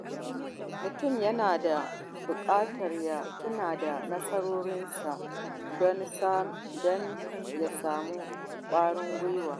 Mutum yana bukatar ya tuna da nasarorinsa don ya sami ƙwarin gwiwa.